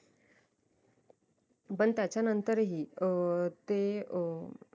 पण त्याच्या नंतरही अं ते अं